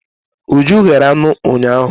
Uju yere anụ ụnyahụ.